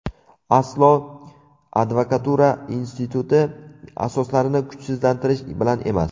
Aslo advokatura instituti asoslarini kuchsizlantirish bilan emas.